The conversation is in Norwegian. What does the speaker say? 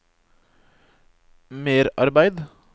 merarbeid